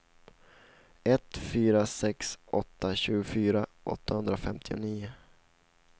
ett fyra sex åtta tjugofyra åttahundrafemtionio